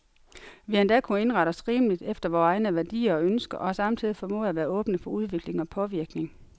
Vi har endda kunnet indrette os rimeligt efter vore egne værdier og ønsker, og har samtidig formået at være åbne for udvikling og påvirkning.